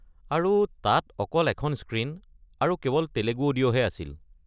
আৰু তাত অকল এখন স্ক্ৰীন আৰু কেৱল তেলেগু অডিঅ হে আছিল।